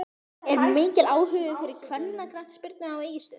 Er mikill áhugi fyrir kvennaknattspyrnu á Egilsstöðum?